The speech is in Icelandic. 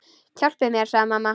Hjálpi mér, sagði mamma.